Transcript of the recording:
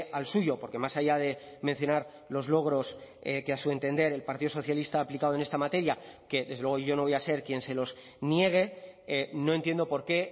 al suyo porque más allá de mencionar los logros que a su entender el partido socialista ha aplicado en esta materia que desde luego yo no voy a ser quien se los niegue no entiendo por qué